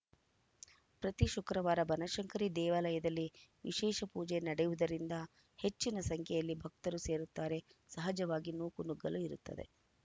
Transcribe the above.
ಪ್ರತಿ ಶುಕ್ರವಾರ ಬನಶಂಕರಿ ದೇವಾಲಯದಲ್ಲಿ ವಿಶೇಷ ಪೂಜೆ ನಡೆಯುವುದರಿಂದ ಹೆಚ್ಚಿನ ಸಂಖ್ಯೆಯಲ್ಲಿ ಭಕ್ತರು ಸೇರುತ್ತಾರೆ ಸಹಜವಾಗಿ ನೂಕುನುಗ್ಗಲು ಇರುತ್ತದೆ